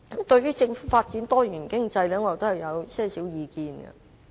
對於政府發展多元經濟，我有以下意見。